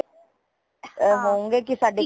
ਹੁੰਗੇ ਕੀ ਸਾਡੇ ਕੋਲ